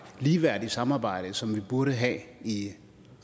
ligeværdige samarbejde som vi burde have i